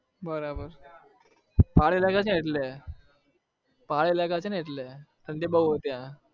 બરાબર પહાડી इलाका છે ને એટલે પહાડી इलाका છે ને એટલે ઠંડી બહુ હોય ત્યાં બરાબર